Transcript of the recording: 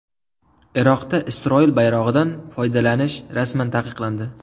Iroqda Isroil bayrog‘idan foydalanish rasman taqiqlandi.